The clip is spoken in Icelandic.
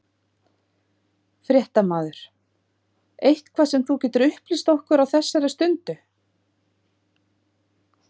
Fréttamaður: Eitthvað sem þú getur upplýst okkur á þessar stundu?